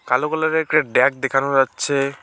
কালো কালার -এর একটা ড্যাগ দেখানো যাচ্ছে।